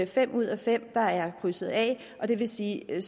fem ud af fem der er krydset af og det vil sige at